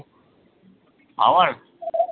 আমার?